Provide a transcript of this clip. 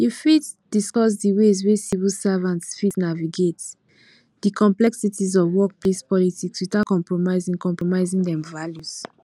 you fit discuss di ways wey civil servants fit naviagate di complexities of workplace politics without compromising compromising dem values